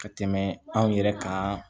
Ka tɛmɛ anw yɛrɛ kan